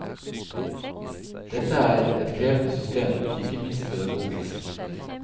Dette er et krevende system, ikke minst pedagogisk.